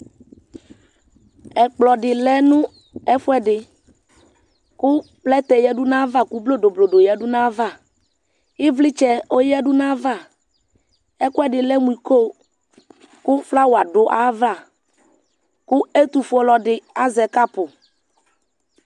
Ɛkplɔ dɩ lɛ nʋ ɛfʋɛdɩ kʋ plɛtɛ yǝdu n'ayava , kʋ blodoblodo yǝdu n'ayava Ivlɩtsɛ oyǝdu n'ayava Ɛkʋɛdɩ lɛ mʋ iko ,kʋ flawa dʋ ayava ,kʋ ɛtʋfueɔlɔdɩ azɛ kapʋ